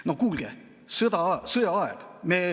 No kuulge, sõjaaeg!